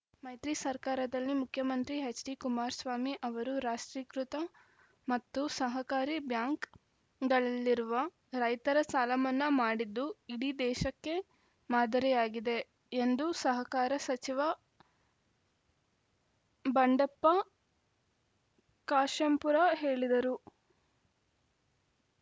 ಮೈತ್ರಿ ಸರ್ಕಾದಲ್ಲಿ ಮುಖ್ಯಮಂತ್ರಿ ಎಚ್‌ಡಿಕುಮಾರಸ್ವಾಮಿ ಅವರು ರಾಷ್ಟ್ರೀಕೃತ ಮತ್ತು ಸಹಕಾರಿ ಬ್ಯಾಂಕ್‌ಗಳಲ್ಲಿರುವ ರೈತರ ಸಾಲಮನ್ನಾ ಮಾಡಿದ್ದು ಇಡೀ ದೇಶಕ್ಕೆ ಮಾದರಿಯಾಗಿದೆ ಎಂದು ಸಹಕಾರ ಸಚಿವ ಬಂಡೆಪ್ಪ ಕಾಶೆಂಪುರ ಹೇಳಿದರು